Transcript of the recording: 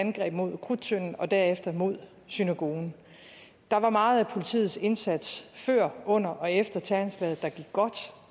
angreb mod krudttønden og derefter mod synagogen der var meget af politiets indsats før under og efter terroranslaget der gik godt